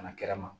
Kana kɛra ma